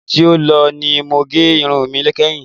Oṣù tí ó lọ ni mo gẹ irun mi kẹ́hin.